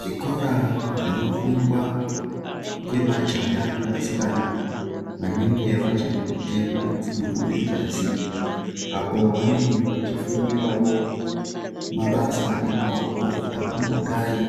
Zvikora zvinofundwa ngemajaya nevasikana vanenge vachiri kutemwa dzinobude ngazi, apo vanenge vachifundirawo mabasa emaoko angangodai